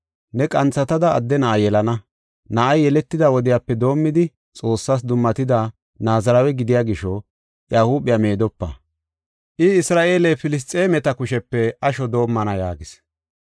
Ne qanthatada adde na7a yelana. Na7ay yeletida wodiyape doomidi Xoossas dummatida Naazirawe gidiya gisho iya huuphiya meedopa. I Isra7eele Filisxeemeta kushepe asho doomana” yaagis.